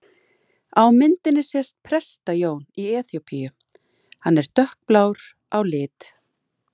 Á myndinni sést Presta-Jón í Eþíópíu, hann er dökkblár á lit.